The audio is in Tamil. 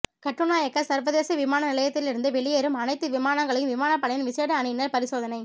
கட்டுநாயக்க சர்வதேச விமான நிலையத்திலிருந்து வெளியேறும் அனைத்து விமானங்களையும் விமானப்படையின் விசேட அணியினர் பரிசோதனை